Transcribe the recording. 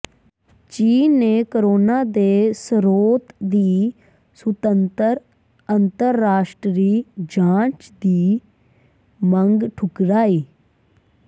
ਚੀਨ ਨੇ ਕੋਰੋਨਾ ਦੇ ਸਰੋਤ ਦੀ ਸੁਤੰਤਰ ਅੰਤਰਰਾਸ਼ਟਰੀ ਜਾਂਚ ਦੀ ਮੰਗ ਠੁਕਰਾਈ